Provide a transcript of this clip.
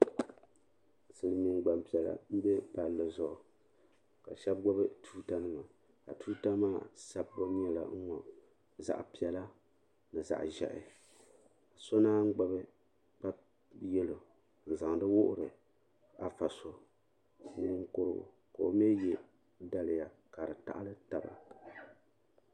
Silimiin gbampiɛla m be palli zuɣu ka shɛba gbibi tuuta nima ka tuuta maa sabbu nyɛla n ŋɔ zaɣa piɛla ni zaɣa ʒehi so naanyi gbibi kpa yelo n zaŋdi wuhiri afa so ninkurugu ka o mi ye daliya ka di taɣali taba.